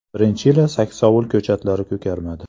Birinchi yili saksovul ko‘chatlari ko‘karmadi.